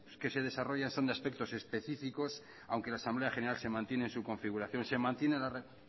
que se desarrollan son de aspectos específicos aunque la asamblea general se mantiene en su configuración se mantiene